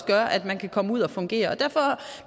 gør at man kan komme ud at fungere og derfor